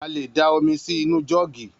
A lè dá omi sí inú jọ́ọ̀gì.